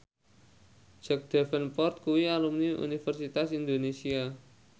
Jack Davenport kuwi alumni Universitas Indonesia